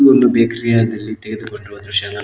ಒಂದು ಬೇಕರಿ ಯ ದಲ್ಲಿ ತೆಗೆದುಕೊಂಡಿರುವ ದೃಶ್ಯ ಎಂದು ನಾವು--